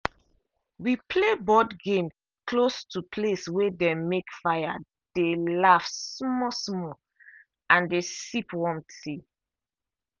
we play board game close to place way dem make fire dey laugh small small and dey sip warm tea.